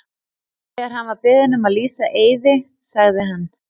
Þegar hann var beðin um að lýsa Eiði sagði hann.